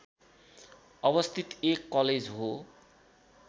अवस्थित एक कलेज हो